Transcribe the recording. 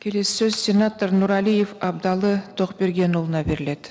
келесі сөз сенатор нұрәлиев абдалы тоқбергенұлына беріледі